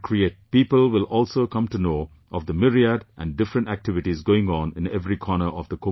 People will also come to know of the myriad and different activities going on in every corner of the Kumbh Mela